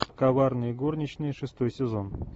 коварные горничные шестой сезон